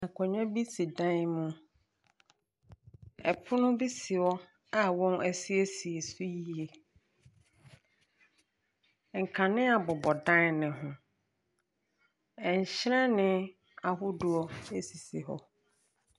Nkonnwa bi si dan mu, pono bi si hɔ a wɔasiesie so yie, nkanea bobɔ dan ne ho. Nhyiren ahodoɔ sisi hɔ.